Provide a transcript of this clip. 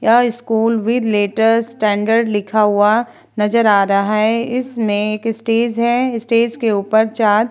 यह school with letter standard लिखा हुआ नजर आ रहा है इसमें एक स्टेज है स्टेज के ऊपर चार --